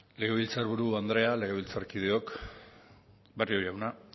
legebiltzarburu andrea legebiltzarkideok barrio jauna